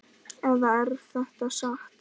Eða er þetta satt?